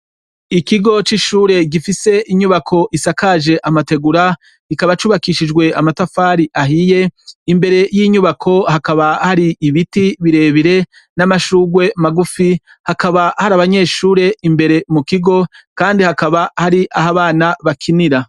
Ikigo c’ishure gifise inyubako isakaje amategura, kikaba cubakishijwe amatafari ahiye, imbere y’inyubako hakaba hari ibiti birebire n’amashurwe magufi, hakaba har’abanyeshure imbere mukigo ,Kandi hakaba hari ah’abana bakinira.